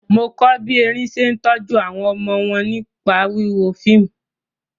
Mo kọ́ bí erin ṣe ń tọ́jú àwọn ọmọ wọn nípa wíwo fíìmù.